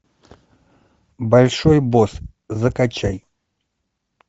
большой босс закачай